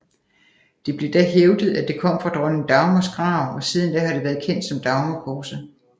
Det blev da hævdet at det kom fra dronning Dagmars grav og siden da har det været kendt som Dagmarkorset